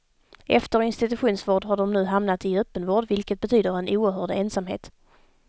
Efter institutionsvård har de nu hamnat i öppenvård, vilket betyder en oerhörd ensamhet.